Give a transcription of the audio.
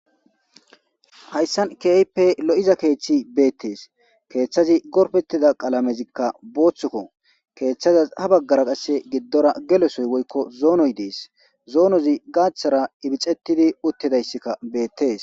Hayssan keehippe lo'iza keeththi beettees keeththazi gorfetida qalamezikka booththuko keeththazas ha baggara qasse giddora gelesoy woykko zoonoy dees zoonozi gaaththara ibixettidi uttidayssikka beettees.